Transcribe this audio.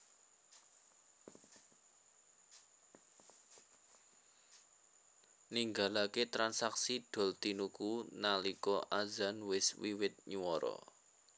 Ninggalake transaksi doltinuku nalika adzan wis wiwit nywara